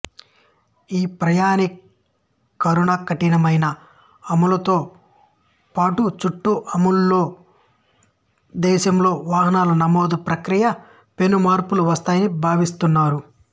ఈ ప్రామాణీకరణకఠినమైన అమలుతో పాటుచట్ట అమలులో దేశంలో వాహనాల నమోదు ప్రక్రియలో పెను మార్పులు వస్తాయని భావిస్తున్నారు